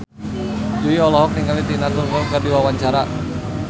Jui olohok ningali Tina Turner keur diwawancara